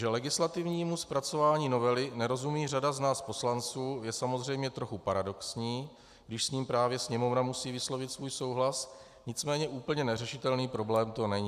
Že legislativnímu zpracování novely nerozumí řada z nás poslanců, je samozřejmě trochu paradoxní, když s ní právě Sněmovna musí vyslovit svůj souhlas, nicméně úplně neřešitelný problém to není.